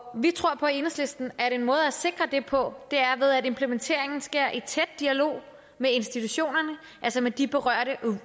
vi tror på i enhedslisten at en måde at sikre det på er ved at implementeringen sker i tæt dialog med institutionerne altså med de her berørte